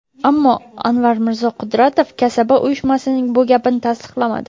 Ammo Anvarmirzo Qudratov kasaba uyushmasining bu gapini tasdiqlamadi.